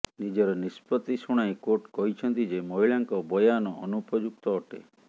ନିଜର ନିଷ୍ପତ୍ତି ଶୁଣାଇ କୋର୍ଟ କହିଛନ୍ତି ଯେ ମହିଳାଙ୍କ ବୟାନ ଅନୁପଯୁକ୍ତ ଅଟେ